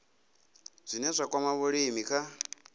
zwine zwa kwama vhulimi kha